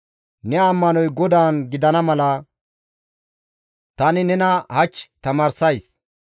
Ne ammanoy GODAAN gidana mala tani nena hach tamaarsays.